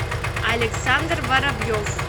александр воробьев